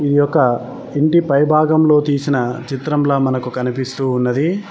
ఈ యొక్క ఇంటి పై భాగంలో తీసిన చిత్రంల మనకు కనిపిస్తూ ఉన్నది.